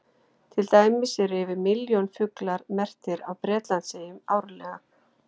Til dæmis eru yfir milljón fuglar merktir á Bretlandseyjum árlega.